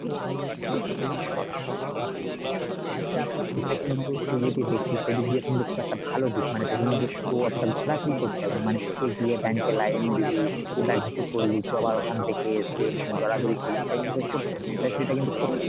এটা কিন্তু তুই যদি দেখিস এইদিক দিয়ে কিন্তু সেটা একটা ভালো দিক মানে তোকে কিন্তু তো অতোটা ঘোরাফেরি করতে হবে না, মানে এই গিয়ে bank এ line দিবি কি বা কিছু করলি আবার ওখান থেকে এসে মানে দৌড়াদৌড়ি করলি সেটা কিন্তু তোকে করতে হবে না, সেটা সেটা কিন্তু করতে হবে না